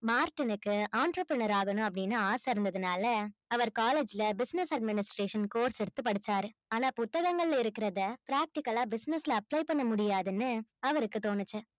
மார்ட்டினுக்கு entrepreneur ஆகணும் அப்படின்னு ஆசை இருந்ததுனால அவர் college ல business administration course எடுத்து படிச்சாரு ஆனா புத்தகங்கள்ல இருக்கிறதை practical ஆ business ல apply பண்ண முடியாதுன்னு அவருக்கு தோணுச்சு